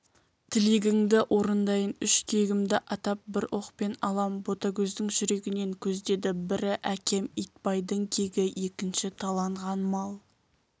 тілегіңді орындайын үш кегімді атап бір оқпен алам ботагөздің жүрегінен көздеді бірі әкем итбайдың кегі екінші таланған мал